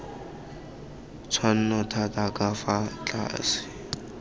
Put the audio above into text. tshwanno thata ka fa tlase